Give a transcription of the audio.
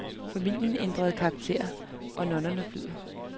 Familien ændrer karakter, og normerne flyder.